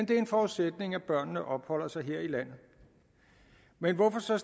det er en forudsætning at børnene opholder sig her i landet men hvorfor så